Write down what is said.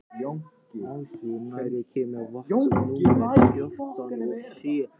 Ásdór, hvenær kemur vagn númer fjörutíu og sjö?